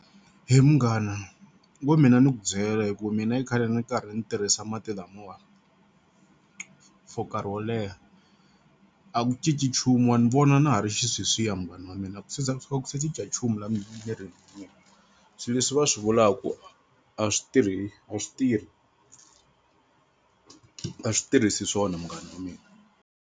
He munghana wo mina ni ku byela hi ku mina i khale ndzi karhi ndzi tirhisa mati lamawa for nkarhi wo leha a ku cinci nchumu wa ni vona na ha ri xisweswiya munghana wa mina a ku se za a ku se cinca nchumu la mirini wa mina. Swilo leswi va swi vulaku a swi tirhi a swi tirhi a swi tirhisi swona munghana wa mina.